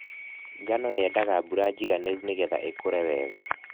Ngano yendaga mbura njiganĩru nĩgetha ĩkũre wega.